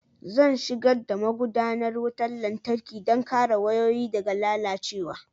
Zan shigar da magudanar wutar lantarki don kare wayoyi daga lalacewa